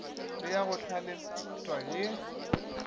le ya go hlalefetpa ye